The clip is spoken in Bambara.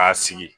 K'a sigi